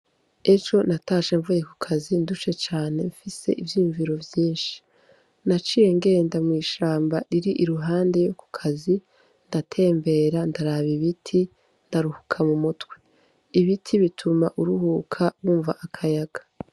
Ejo natashe mvuye ku kazi ndushe cane mfise ivyuyumviro vyinshi naciye ngenda mwishamba riri iruhande yo ku kazi ndatembera ndaraba ibiti ndaruhuka mu mutwe ibiti bituma uruhuka bumva akayaga.